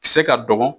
Se ka dɔgɔkun